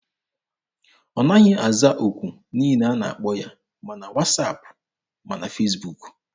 Ọ naghị aza okwu niile ọ na-akpọ ya, ma na wasaapụ ma na Fesbuk.